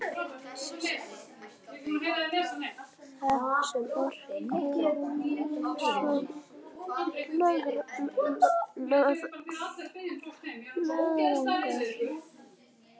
Þögn sem orkaði á mig einsog löðrungur.